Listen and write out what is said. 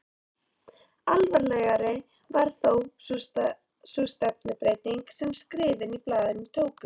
Alvarlegri var þó sú stefnubreyting sem skrifin í blaðinu tóku.